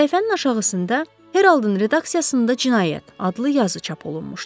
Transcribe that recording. Səhifənin aşağısında Heroldun redaksiyasında cinayət adlı yazı çap olunmuşdu.